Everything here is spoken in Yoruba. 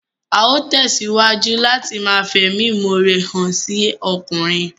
Á ó tẹ̀síwájú láti ma fẹ̀mímọre hàn sí ọkùnrin